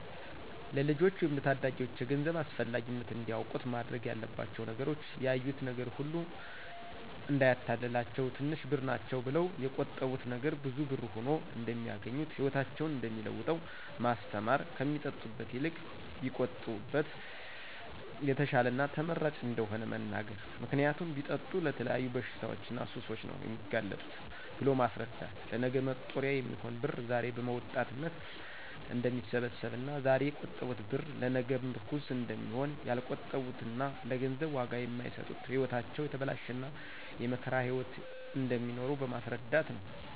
ለልጆች ወይም ለታዳጊዎች የገንዘብ አስፈላጊነት እንዲያውቁት መደረግ ያለባቸው ነገሮች ያዩት ነገር ሁሉ እዳያታልላቸው ትንሽ ብር ናቸው ብለው የቆጠቡት ነገ ብዙ ብር ሁኖ እደሚያገኙት ህይወታቸውን እደሚለውጠው ማስተማር ከሚጠጡበት ይልቅ ቢቆጥቡበት የተሻለና ተመራጭ እደሆነ መንገር ምክንያቱም ቢጠጡ ለተለያዩ በሽታዎችና ሱሶች ነው የሚጋለጡት ብሎ ማስረዳት ለነገ መጦሪያ የሚሆን ብር ዛሬ በወጣትነት እደሚሰበሰብና ዛሬ የቆጠቡት ብር ለነገ ምርኩዝ እደሚሆን ያልቆጠቡትና ለገንዘብ ዋጋ የማይሰጡት ህይወታቸው የተበላሸና የመከራ ህይዎት እደሚኖሩ በማስረዳት ነው።